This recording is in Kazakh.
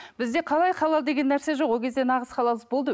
бізде қалай халал деген нәрсе жоқ ол кезде нағыз халал іс болды